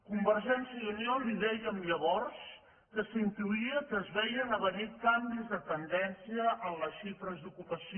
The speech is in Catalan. convergència i unió li dèiem llavors que s’intuïa que es veien a venir canvis de tendència en les xifres d’ocu·pació